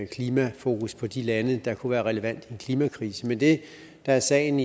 klimafokus på de lande der kunne være relevante i klimakrisen men det der er sagen